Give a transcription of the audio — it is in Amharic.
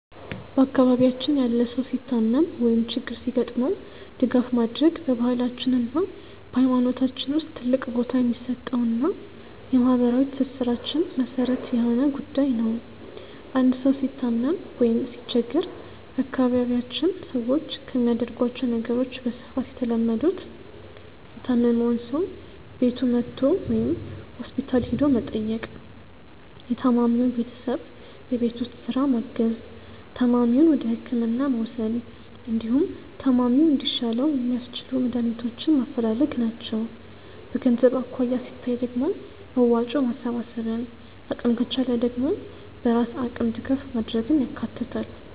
በአካባቢያችን ያለ ሰው ሲታመም ወይም ችግር ሲገጥመው ድጋፍ ማድረግ በባህላችን እና በሃይማኖታችን ውስጥ ትልቅ ቦታ የሚሰጠውና የማህበራዊ ትስስራችን መሰረት የሆነ ጉዳይ ነው። አንድ ሰው ሲታመም ወይም ሲቸገር የአካባቢያችን ሰዎች ከሚያደርጓቸው ነገሮች በስፋት የተለመዱት:- የታመመውን ሰው ቤቱ መጥቶ ወይም ሆስፒታል ሄዶ መጠየቅ፣ የታማሚውን ቤተሰብ የቤት ውስጥ ስራ ማገዝ፣ ታማሚውን ወደህክምና መውሰድ፣ እንዲሁም ታማሚው እንዲሻለው የሚያስችሉ መድሃኒቶችን ማፈላለግ ናቸው። በገንዘብ አኳያ ሲታይ ደግሞ መዋጮ ማሰባሰብን፣ አቅም ከቻለ ደግሞ በራስ አቅም ድጋፍ ማድረግን ያካትታል።